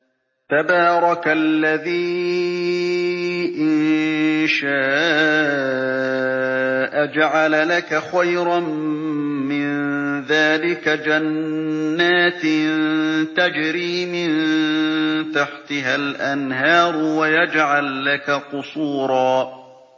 تَبَارَكَ الَّذِي إِن شَاءَ جَعَلَ لَكَ خَيْرًا مِّن ذَٰلِكَ جَنَّاتٍ تَجْرِي مِن تَحْتِهَا الْأَنْهَارُ وَيَجْعَل لَّكَ قُصُورًا